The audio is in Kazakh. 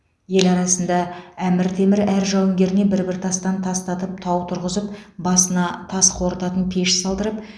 ел арасында әмір темір әр жауынгеріне бір бір тастан тастатып тау тұрғызып басына тас қорытатын пеш салдырып